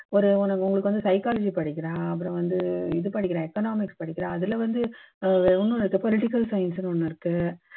ஒரு ஒ உங்களுக்கு வந்து psychology படிக்கலாம் அப்பறம் வந்து இது படிக்கலாம் economics படிக்கலாம் அதுல வந்து ஒண்ணும் இல்ல political science னு ஒண்ணு இருக்கு